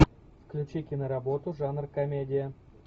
включи киноработу жанр комедия